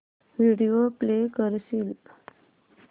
video play करशील